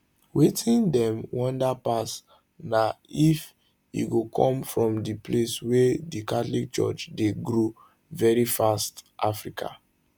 wetin dem wonder pass na if e go come from di place wia di catholic church dey grow veri fast africa